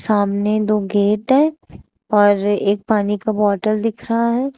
सामने दो गेट हैं और एक पानी का बोतल दिख रहा है।